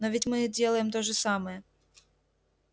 но ведь мы делаем то же самое